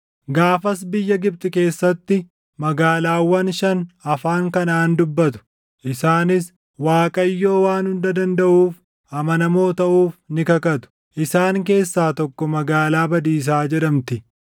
Gaafas biyya Gibxi keessatti magaalaawwan shan afaan Kanaʼaan dubbatu; isaanis Waaqayyoo Waan Hunda Dandaʼuuf amanamoo taʼuuf ni kakatu. Isaan keessaa tokko Magaalaa Badiisaa jedhamti.